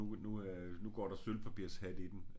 Nu nu øh nu går der sølvpapirshat i den